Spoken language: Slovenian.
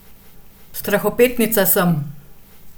Strahopetnica sem.